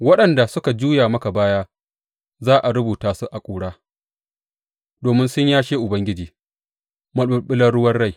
Waɗanda suka juya maka baya za a rubuta su a ƙura domin sun yashe Ubangiji, maɓulɓular ruwan rai.